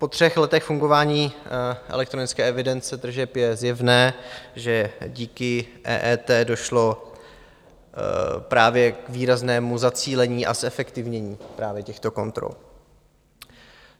Po třech letech fungování elektronické evidence tržeb je zjevné, že díky EET došlo právě k výraznému zacílení a zefektivnění právě těchto kontrol.